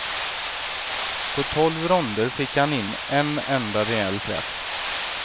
På tolv ronder fick han in en enda rejäl träff.